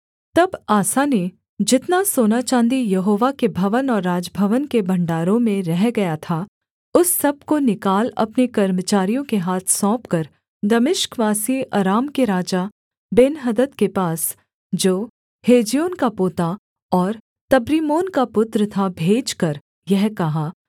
तब आसा ने जितना सोना चाँदी यहोवा के भवन और राजभवन के भण्डारों में रह गया था उस सब को निकाल अपने कर्मचारियों के हाथ सौंपकर दमिश्कवासी अराम के राजा बेन्हदद के पास जो हेज्योन का पोता और तब्रिम्मोन का पुत्र था भेजकर यह कहा